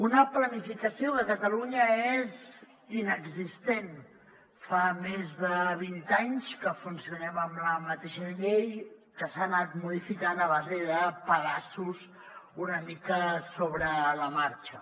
una planificació que a catalunya és inexistent fa més de vint anys que funcionem amb la mateixa llei que s’ha anat modificant a base de pedaços una mica sobre la marxa